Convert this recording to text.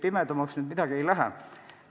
Ei, pimedamaks midagi ei lähe.